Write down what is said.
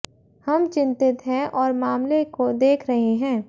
हम चिंतित हैं और मामले को देख रहे हैं